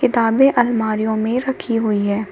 किताबें आलमारियों में रखी हुई हैं।